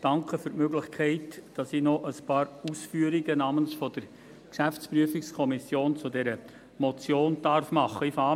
Danke für die Möglichkeit, dass ich namens der GPK noch ein paar Ausführungen zu dieser Motion machen darf.